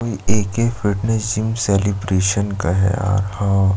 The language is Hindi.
ए के फिटनेस जिम सेलिब्रेशन का और हाँ --